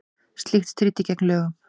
Slíkt stríddi gegn lögum